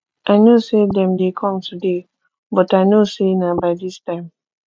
i know say dem dey come today but i no say na by dis time